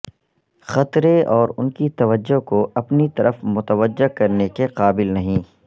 خطرے اور ان کی توجہ کو اپنی طرف متوجہ کرنے کے قابل نہیں